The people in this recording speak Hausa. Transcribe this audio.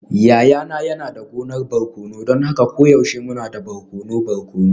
Yayana yana da gonar barkono don haka koyaushe muna da barkono barkono.